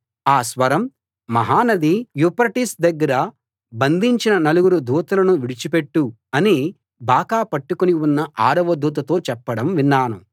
ఆ స్వరం మహా నది యూఫ్రటీసు దగ్గర బంధించిన నలుగురు దూతలను విడిచి పెట్టు అని బాకా పట్టుకుని ఉన్న ఆరవ దూతతో చెప్పడం విన్నాను